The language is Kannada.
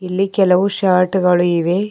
ಇಲ್ಲಿ ಕೆಲವು ಶರ್ಟ್ ಗಳು ಇವೆ.